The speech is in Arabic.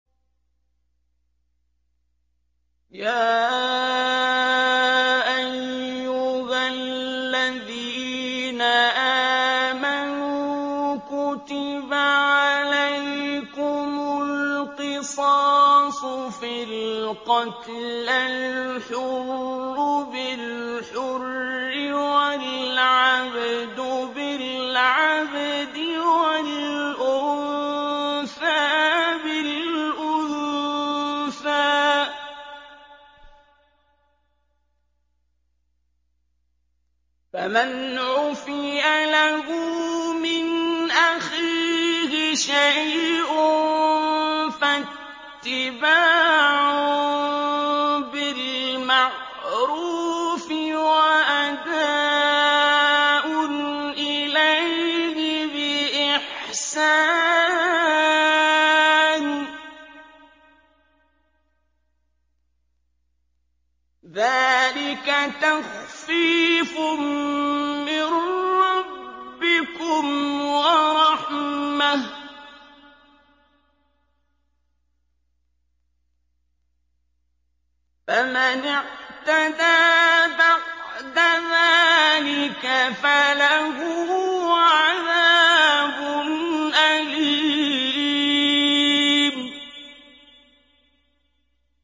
يَا أَيُّهَا الَّذِينَ آمَنُوا كُتِبَ عَلَيْكُمُ الْقِصَاصُ فِي الْقَتْلَى ۖ الْحُرُّ بِالْحُرِّ وَالْعَبْدُ بِالْعَبْدِ وَالْأُنثَىٰ بِالْأُنثَىٰ ۚ فَمَنْ عُفِيَ لَهُ مِنْ أَخِيهِ شَيْءٌ فَاتِّبَاعٌ بِالْمَعْرُوفِ وَأَدَاءٌ إِلَيْهِ بِإِحْسَانٍ ۗ ذَٰلِكَ تَخْفِيفٌ مِّن رَّبِّكُمْ وَرَحْمَةٌ ۗ فَمَنِ اعْتَدَىٰ بَعْدَ ذَٰلِكَ فَلَهُ عَذَابٌ أَلِيمٌ